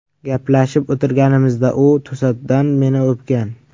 Gaplashib o‘tirganimizda u to‘satdan meni o‘pgan.